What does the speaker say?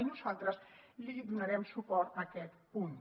i nosaltres li donarem suport a aquest punt